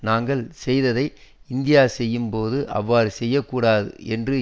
நாங்கள் செய்ததை இந்தியா செய்யும்போது அவ்வாறு செய்ய கூடாது என்று